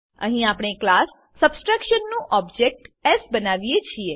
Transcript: અહીં આપણે class subtraction નું ઓબ્જેક્ટ એસ બનાવીએ છીએ